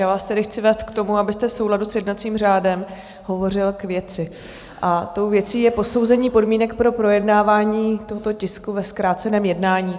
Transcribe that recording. Já vás tedy chci vést k tomu, abyste v souladu s jednacím řádem hovořil k věci, a tou věcí je posouzení podmínek pro projednávání tohoto tisku ve zkráceném jednání.